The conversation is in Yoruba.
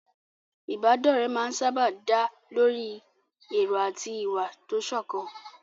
Ìbádọ́rẹ̀ẹ́ máa ń sáábà dá lórí èrò àti ìwà tó sọ̀kan.